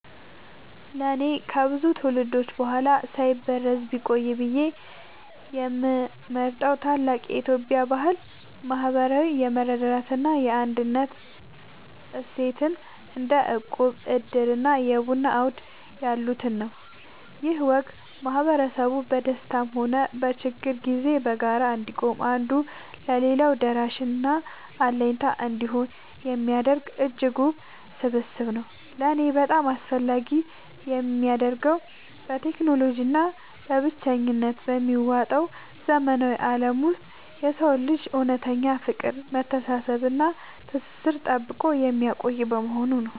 ለእኔ ከብዙ ትውልዶች በኋላ ሳይበረዝ ቢቆይ ብዬ የምመርጠው ታላቅ የኢትዮጵያ ባህል **ማህበራዊ የመረዳዳት እና የአንድነት እሴትን** (እንደ እቁብ፣ ዕድር እና የቡና አውድ ያሉትን) ነው። ይህ ወግ ማህበረሰቡ በደስታም ሆነ በችግር ጊዜ በጋራ እንዲቆም፣ አንዱ ለሌላው ደራሽና አለኝታ እንዲሆን የሚያደርግ እጅግ ውብ ስብስብ ነው። ለእኔ በጣም አስፈላጊ የሚያደርገው፣ በቴክኖሎጂ እና በብቸኝነት በሚዋጠው ዘመናዊ ዓለም ውስጥ የሰውን ልጅ እውነተኛ ፍቅር፣ መተሳሰብ እና ትስስር ጠብቆ የሚያቆይ በመሆኑ ነው።